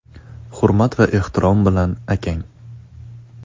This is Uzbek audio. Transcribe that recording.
Hurmat va ehtirom bilan akang.